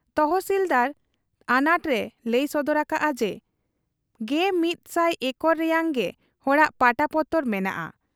ᱛᱚᱦᱥᱤᱞᱫᱟᱨ ᱟᱱᱟᱴ ᱮ ᱞᱟᱹᱭ ᱥᱚᱫᱚᱨ ᱟᱠᱟᱜ ᱟ ᱡᱮ ᱑᱑᱐᱐ ᱮᱠᱚᱨ ᱨᱮᱭᱟᱝ ᱜᱮ ᱦᱚᱲᱟᱜ ᱯᱟᱴᱟ ᱯᱚᱛᱚᱨ ᱢᱮᱱᱟᱜ ᱟ ᱾